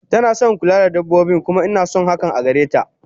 Tanason kula da dabbobi kuma inason hakan agareta